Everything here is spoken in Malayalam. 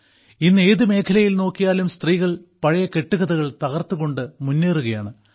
ഇന്ന് ഏതു മേഖലയിൽ നോക്കിയാലും സ്ത്രീകൾ പഴയ കെട്ടുകഥകൾ തകർത്തുകൊണ്ടു മുന്നേറുകയാണ്